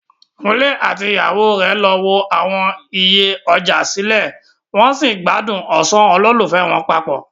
Kunle àti ìyàwó rẹ̀ lọ wo àwọn iye ọjà sílẹ̀, wọn sì ń gbádùn ọ̀sán olólùfẹ́ wọn papọ.